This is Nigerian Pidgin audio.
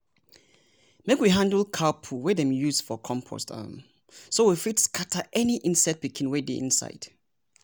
make we handle cow poo wey dem use for compost um so we fit scatter any insect pikin wey dey inside.